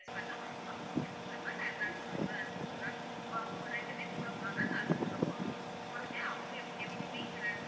அவங்க help வேணுனா nurse அ கூட அனுப்புவோம் ma'am இப்போ அவங்க ரெண்டு பேர் கூட போறாங்க nurse கூட போவாங்க ma'am பொறுமையா அவங்க எப்பவுமே இதுல